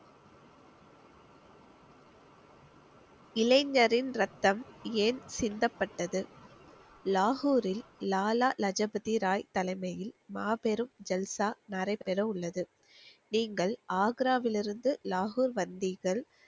இளைஞரின் ரத்தம் ஏன் சிந்தப்பட்டது? லாகூரில் லாலா லஜபதி ராய் தலைமையில் மாபெரும் ஜல்சா நடைபெற உள்ளது நீங்கள் ஆக்ராவிலிருந்து லாகூர் வந்தீர்கள்